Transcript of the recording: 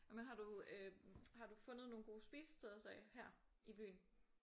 Men har du øh har du fundet nogle gode spisesteder så her i byen?